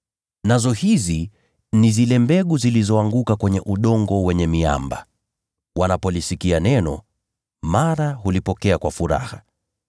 Nazo zile mbegu zilizoanguka kwenye udongo wenye miamba, ni wale wanaolisikia neno, na mara hulipokea kwa furaha.